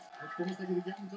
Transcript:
Þessu skulum við breyta núna.